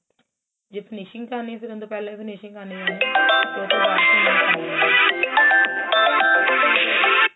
ਜੇ finishing ਕਰਨੀ ਏ ਫੇਰ ਅੰਦਰ ਪਹਿਲੇ finishing ਕਰਨੀ